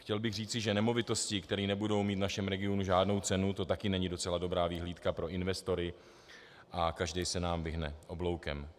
Chtěl bych říci, že nemovitosti, které nebudou mít v našem regionu žádnou cenu, to taky není docela dobrá vyhlídka pro investory a každý se nám vyhne obloukem.